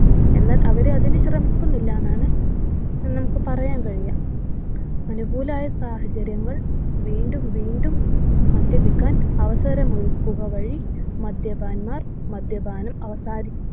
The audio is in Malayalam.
എന്നാൽ അവര് അതിനു ശ്രമിക്കുന്നില്ല ന്നാണ് ഏർ നമുക്ക് പറയാൻ കഴിയ അനുകൂലമായ സാഹചര്യങ്ങൾ വീണ്ടും വീണ്ടും മദ്യപിക്കാൻ അവസരമൊരുക്കുകവഴി മദ്യപന്മാർ മദ്യപാനം അവസാനി